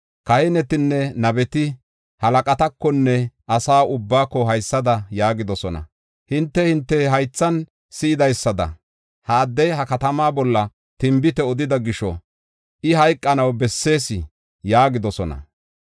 Kahinetinne nabeti halaqatakonne asa ubbaako haysada yaagidosona: “Hinte, hinte haythan si7idaysada, ha addey ha katamaa bolla tinbite odida gisho, I hayqanaw bessees!” yaagidosona.